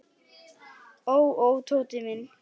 Ó, ó, Tóti minn.